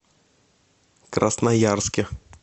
красноярске